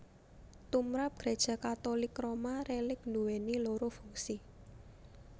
Tumrap Gréja Katulik Roma rélik nduwèni loro fungsi